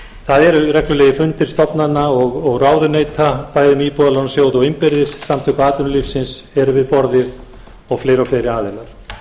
það eru reglulegir fundir stofnana og ráðuneyta bæði með íbúðalánasjóði og innbyrðis samtök atvinnulífsins eru við borðið og fleiri og fleiri aðilar